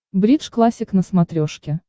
бридж классик на смотрешке